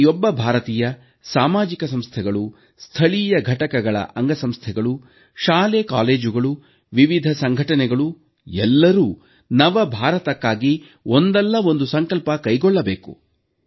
ಪ್ರತಿಯೊಬ್ಬ ಭಾರತೀಯ ಸಾಮಾಜಿಕ ಸಂಸ್ಥೆಗಳು ಸ್ಥಳೀಯ ಘಟಕಗಳ ಅಂಗಸಂಸ್ಥೆಗಳು ಶಾಲಾಕಾಲೇಜುಗಳು ವಿವಿಧ ಸಂಘಟನೆಗಳು ಎಲ್ಲರೂ ನವ ಭಾರತಕ್ಕಾಗಿ ಒಂದಲ್ಲ ಒಂದು ಸಂಕಲ್ಪ ಕೈಗೊಳ್ಳಬೇಕು